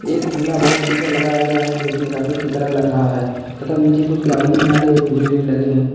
एक झूला बहुत ऊंचा लगाया गया है जो कि रॉकेट की तरह लग रहा है तथा नीचे कुछ गाड़ियों में आले झूले भी लगे हैं।